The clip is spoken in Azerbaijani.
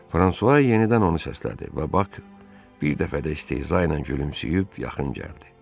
Fransua yenidən onu səslədi və Bax bir dəfə də isteza ilə gülümsəyib yaxın gəldi.